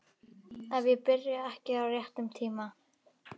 Ef ég byrja ekki á réttum tíma.